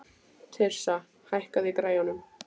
Tirsa, hækkaðu í græjunum.